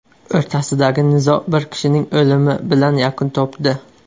o‘rtasidagi nizo bir kishining o‘limi bilan yakun topdi.